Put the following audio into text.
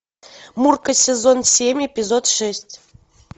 мурка сезон семь эпизод шесть